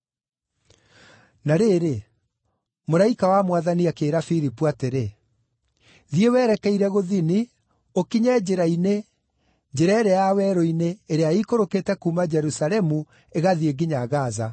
Na rĩrĩ, mũraika wa Mwathani akĩĩra Filipu atĩrĩ, “Thiĩ werekeire gũthini, ũkinye njĩra-inĩ, njĩra ĩrĩa ya werũ-inĩ, ĩrĩa ĩikũrũkĩte kuuma Jerusalemu ĩgathiĩ nginya Gaza.”